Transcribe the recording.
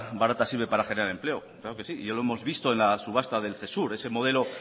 barata sirve para generar empleo claro que sí ya lo hemos visto en la subasta del cesur ese modelo